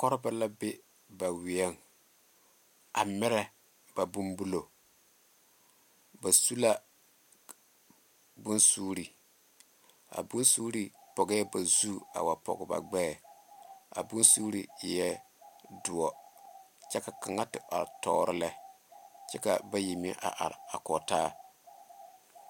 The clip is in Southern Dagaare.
Koɔrebɔ la be ba weɛŋ a mirɛ ba bon bullo ba su la bonsuure a bonsuure pɔgɛɛ ba zu a pɔge ba gbɛɛ a bonsuure eɛɛ doɔ kyɛ ka kaŋa te are toore lɛ kyɛ ka bayi meŋ are a kɔge taa.